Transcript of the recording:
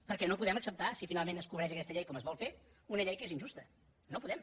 perquè no podem acceptar si finalment es cobreix aquesta llei com es vol fer una llei que és injusta no podem